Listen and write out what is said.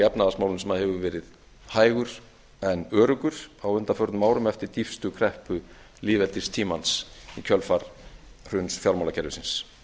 efnahagsmálum sem hefur verið hægur en öruggur á undanförnum árum eftir dýpstu kreppu lýðveldistímans í kjölfar hruns fjármálakerfisins